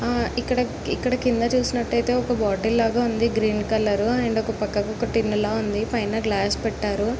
ఆ ఇక్కడ ఇక్కడ కింద చూసినట్టైతే ఒక బోటిల్ లాగా ఉంది. గ్రీన్ కలరు అండ్ ఒక పక్క కొక టిన్ లా ఉంది. పైన గ్లాస్ పెట్టారు.